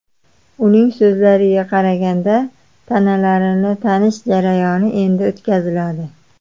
Uning so‘zlariga qaraganda, tanalarni tanish jarayoni endi o‘tkaziladi.